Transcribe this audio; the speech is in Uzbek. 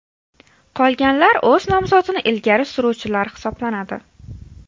Qolganlar o‘z nomzodini ilgari suruvchilar hisoblanadi.